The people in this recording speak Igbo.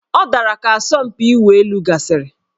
Ọ dara ka asọmpi ịwụ elu gasịrị